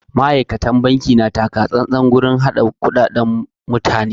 Ma'aikatan banki na takatsantsan wajen harka da kuɗaɗan mutane.